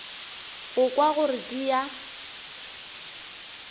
go kwa gore di a